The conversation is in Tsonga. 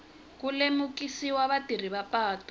ku lemukisa vatirhisi va patu